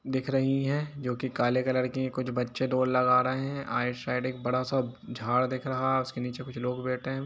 दिख रही है जो की काले कलर की कुछ बच्चे दौड़ लगा रहे है आई सेड एक बड़ा सा झाड़ दिख रहा है उसके निचे कुछ लोग बेठे है।